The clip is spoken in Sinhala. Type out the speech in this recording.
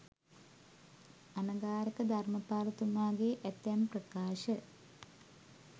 අනගාරික ධර්මපාලතුමාගේ ඇතැම් ප්‍රකාශ